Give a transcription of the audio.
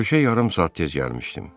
Görüşə yarım saat tez gəlmişdim.